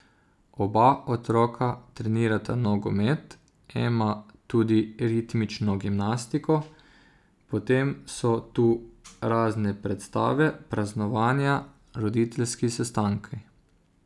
Oba otroka trenirata nogomet, Ema tudi ritmično gimnastiko, potem so tu razne predstave, praznovanja, roditeljski sestanki ...